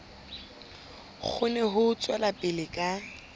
kgone ho tswela pele ka